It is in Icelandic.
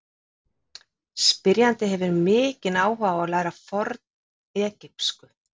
Spyrjandi hefur mikinn áhuga á að læra fornegypsku.